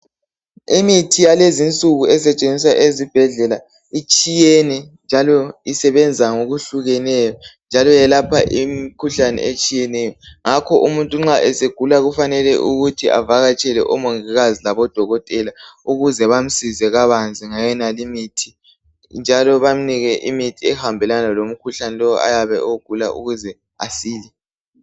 Imithi yalezinsuku esetshenziswa ezibhedlela itshiyene njalo isebenza ngokuhlukeneyo njalo yelapha imikhuhlane etshiyeneyo ngakho umuntu nxa esegula kufanele ukuthi avakatshele omongikazi labodokotela ukuze bamsize kabanzi ngayonalimithi njalo bamnike imithi ehambelana lomkhuhlane lowo ayabe ewugula ukuze asile